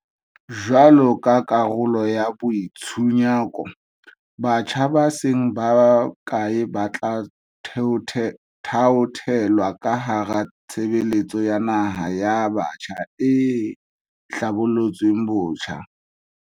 Jwaloka karolo ya boi tshunyako, batjha ba seng bakae ba tla thaothelwa ka hara Tshebeletso ya Naha ya Batjha e hlabolotsweng botjha.